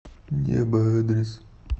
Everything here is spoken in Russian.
небо адрес